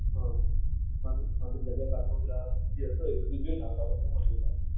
હા જલ્યા બાગમાં જે પેલો હતો એ બધું જોઈને આપણે આવશું .